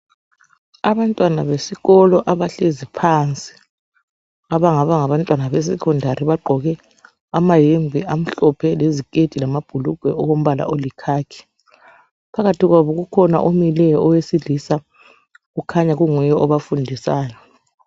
Abantwana besikolo abahlezi phansi, abangaba ngabantwana beSecondary bagqoke amahembe amhlophe , leziketi, lamabhulugwe okombala oyikhakhi. Phakathi kwabo ukhona omileyo owesilisa kukhanya kunguye obafundisayo.